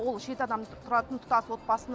ол жеті адам тұратын тұтас отбасыны